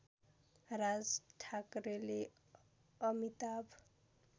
राज ठाकरेले अमिताभ